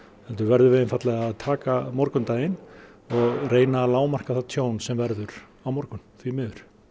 heldur verðum við einfaldlega að taka morgundaginn og reyna að lágmarka það tjón sem verður á morgun því miður